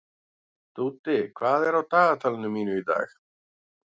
Dúddi, hvað er á dagatalinu mínu í dag?